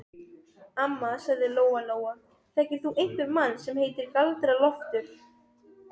Amma, sagði Lóa Lóa, þekkir þú einhvern mann sem heitir Galdra-Loftur?